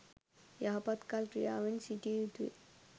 යහපත් කල් ක්‍රියාවෙන් සිටිය යුතුයි.